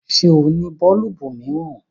Ṣé o ní bọọlubu miiran?